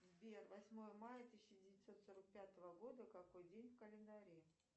сбер восьмое мая тысяча девятьсот сорок пятого года какой день в календаре